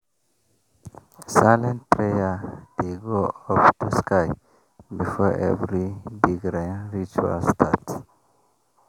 silent prayer dey go up to sky before every big rain ritual start.